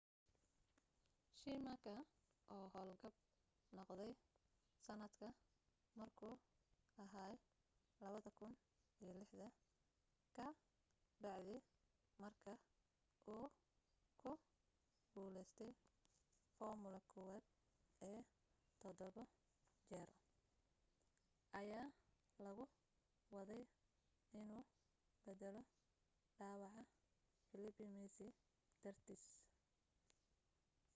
schumacher oo howlgab noqday sanadka markuu aha 2006 ka bacdi marka uu ku guleystay formula 1 ee todobo jeer ayaa lagu waday inuu beddelo dhaawaca felipe massa dartiis